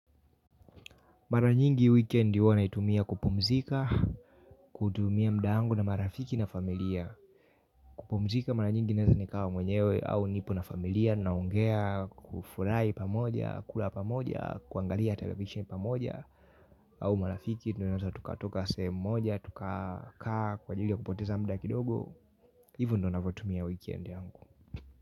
Maranyingi weekendi naitumia kupumzika, kutumia mda angu na marafiki na familia. Kupumzika maranyingi naezanikawa mwenyewe au nipo na familia, naongea, kufurai pamoja, kula pamoja, kuangalia television pamoja, au marafiki, tunonanza tukatoka sehemu moja, tukakaa, kwa jilia kupoteza mda kidogo, hivo ndonafotumia weekendi yangu.